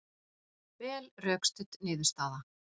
Vel rökstudd niðurstaða